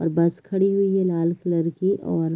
और बस खड़ी हुई है लाल कलर की और--